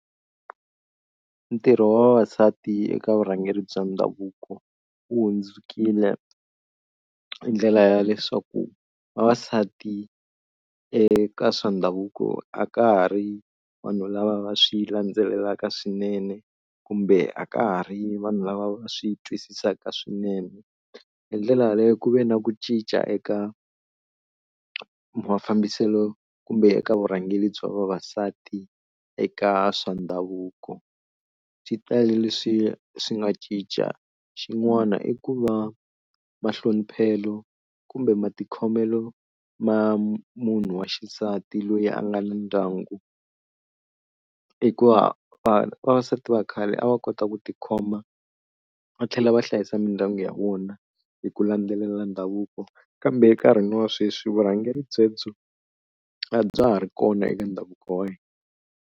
Ntirho wa vavasati eka vurhangeri bya ndhavuko wu hlundzukile hi ndlela ya leswaku vavasati eka swa ndhavuko a ka ha ri vanhu lava va swi landzelelaka swinene kumbe a ka ha ri vanhu lava va swi twisisaka swinene. Hi ndlela leyi ku ve na ku cinca eka mafambiselo kumbe eka vurhangeri bya vavasati eka swa ndhavuko, xitalo leswi swi nga cinca xin'wana i ku va mahloniphelo kumbe matikhomelo ma munhu wa xisati loyi a nga na ndyangu hikuva khale vavasati va khale a va kota ku tikhoma va tlhela va hlayisa mindyangu ya vona hi ku landzelela ndhavuko kambe enkarhini wa sweswi vurhangeri byebyo a bya ha ri kona eka ndhavuko wa hina.